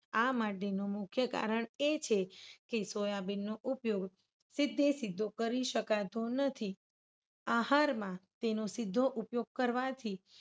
આ માટેનું મુખ્ય કારણ એ છે કે, સોયાબીન નો ઉપયોગ સીધે સીધો કરી શકાતો નથી. આહારમાં તેનો સીધો ઉપયોગ કરવાથી